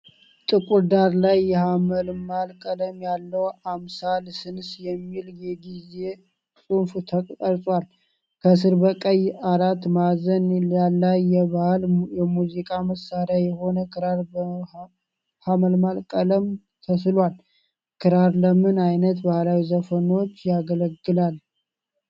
ጥቁር ዳራ ላይ የሐመልማል ቀለም ያለው "አምሳለ ስንስ" የሚል የጌዝ ጽሑፍ ተቀርጿል። ከሥር በቀይ አራት ማዕዘን ላይ የባህል የሙዚቃ መሣሪያ የሆነ ክራር በሐመልማል ቀለም ተስሏል። ክራር ለምን ዓይነት ባህላዊ ዘፈኖች ያገለግላል?